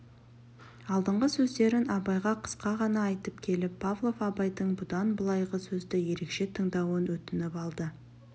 алдыңғы сөздерін абайға қысқа ғана айтып келіп павлов абайдың бұдан былайғы сөзді ерекше тыңдауын өтініп алды